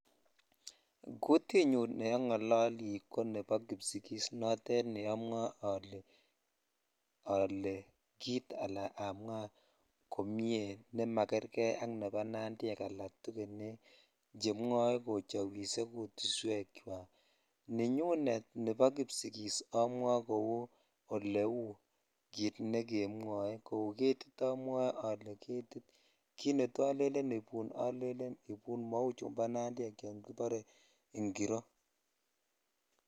Kutinyun ne ongololi ko nebo kipsigis note ne amwoe ale jit ala amwa jomie ne magerkei ak nebo nandiek al tugekek chemwoe kochowise kutuswk chwak nenyunet nebo kipsigis amwoe kou ole uu kit ne kemwoe kou ko getit amwoe ole getit kit netoo olelen ibun olelen ibun mau chun bo nandiek chebore ingiro.